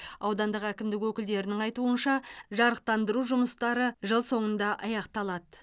аудандық әкімдік өкілдерінің айтуынша жарықтандыру жұмыстары жыл соңында аяқталады